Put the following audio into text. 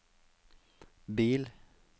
bil